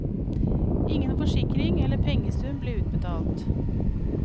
Ingen forsikring eller pengesum ble utbetalt.